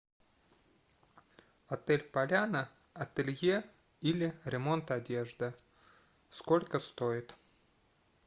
отель поляна ателье или ремонт одежды сколько стоит